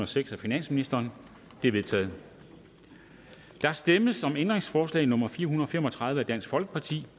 seks af finansministeren det er vedtaget der stemmes om ændringsforslag nummer fire hundrede og fem og tredive af df og